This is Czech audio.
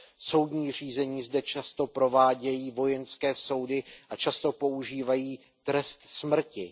Soudní řízení zde často provádějí vojenské soudy a často používají trest smrti.